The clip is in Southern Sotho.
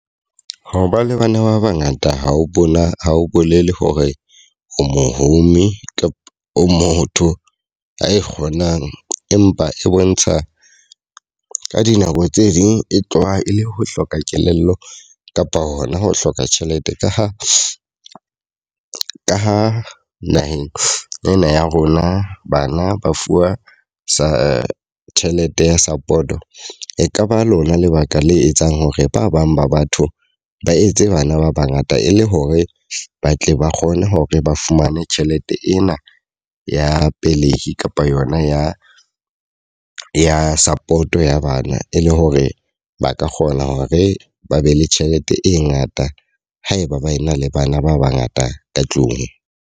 Ho ba le bana ba ba ngata ha o bona ha o bolele hore o mohumi kapa o motho a ikgonang. Empa e bontsha ka dinako tse ding e tloha e le ho hloka kelello kapa hona ho hloka tjhelete, ka ho ka ha naheng ena ya rona bana ba fuwa sa tjhelete ya support. E ka ba lona lebaka le etsang hore ba bang ba batho ba etse bana ba ba ngata e le hore ba tle ba kgone hore ba fumane tjhelete ena ya pelehi kapa yona ya ya support ya bana. E le hore ba ka kgone hore ba be le tjhelete e ngata haeba ba ena le bana ba ba ngata ka tlung.